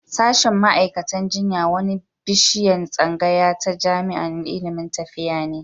Sashen ma'aikatan jinya wani bishiyan tsangaya ta jami'an ilimin lafiya ne.